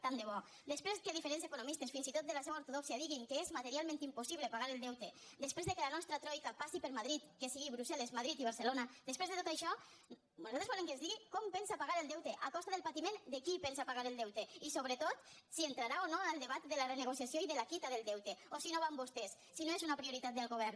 tant de bo després que diferents economistes fins i tot de la seva ortodòxia diguin que és materialment impossible pagar el deute després que la nostra troica passi per madrid que sigui brussel·les madrid i barcelona després de tot això nosaltres volem que ens digui com pensa pagar el deute a costa del patiment de qui pensa pagar el deute i sobretot si entrarà o no en el debat de la renegociació i de la quitança del deute o si no va amb vostès si no és una prioritat del govern